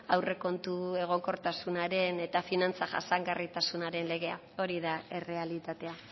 aurrekontu egonkortasunaren eta finantza jasangarritasunaren legea hori da errealitatea